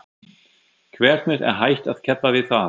Hvernig er hægt að keppa við það?